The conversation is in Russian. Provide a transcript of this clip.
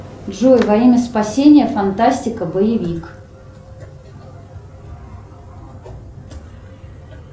джой во имя спасения фантастика боевик